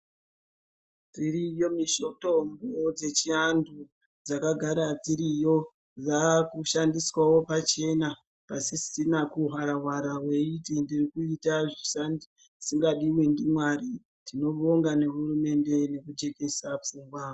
Dziriyo mitombo dzechianhu dzakagara dziriyo dzakudhandiswawo pachena pasisina kuhwara hwara weiti ndirikuita zvisingadiwi ndiMwari, tinobonga nehurumende yakatijekesa pfungwa.